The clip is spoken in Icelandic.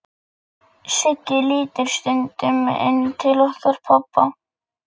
sagði ég og gat ekki lengur dulið gremjuna.